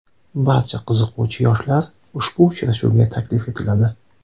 Barcha qiziquvchi yoshlar ushbu uchrashuvga taklif etiladi.